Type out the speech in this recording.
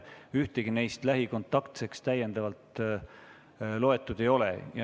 Ühtegi neist lähikontaktseks loetud ei ole.